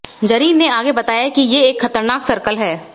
जरीन ने आगे बताया कि ये एक खतरनाक सर्कल है